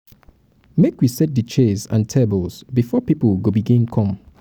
make we set di chairs and tables before pipo go begin come.